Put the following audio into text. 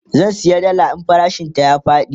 zan saya dalla idan farashin ta ya Faɗi